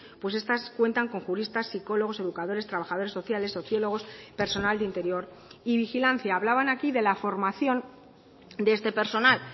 pues estas cuentan con juristas psicólogos educadores trabajadores sociales sociólogos personal de interior y vigilancia hablaban aquí de la formación de este personal